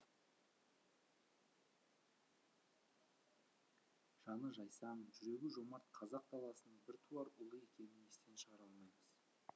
жаны жайсаң жүрегі жомарт қазақ даласының біртуар ұлы екенін естен шығара алмаймыз